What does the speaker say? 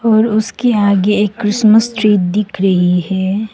और उसके आगे एक क्रिसमस ट्री दिख रही है।